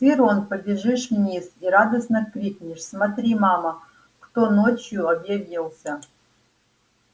ты рон побежишь вниз и радостно крикнешь смотри мама кто ночью объявился